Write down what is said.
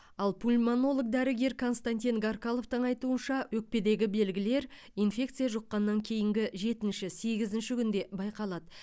ал пульмонолог дәрігер константин гаркаловтың айтуынша өкпедегі белгілер инфекция жұққаннан кейінгі жетінші сегізінші күнде байқалады